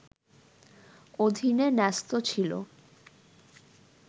অধীনে ন্যস্ত ছিল